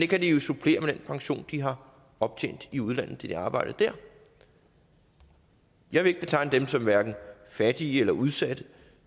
kan de jo supplere med den pension de har optjent i udlandet da de arbejdede der jeg vil ikke betegne dem som hverken fattige eller udsatte